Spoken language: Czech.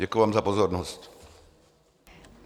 Děkuji vám za pozornost.